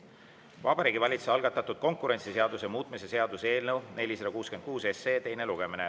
Vabariigi Valitsuse algatatud konkurentsiseaduse muutmise seaduse eelnõu 466 teine lugemine.